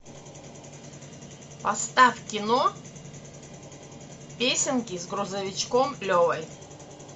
поставь кино песенки с грузовичком левой